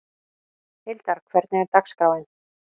Hildar, hvernig er dagskráin?